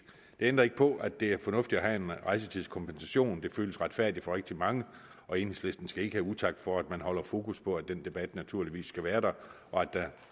det ændrer ikke på at det er fornuftigt at have en rejsetidskompensation det føles retfærdigt for rigtig mange og enhedslisten skal ikke have utak for at man holder fokus på at den debat naturligvis skal være der og at der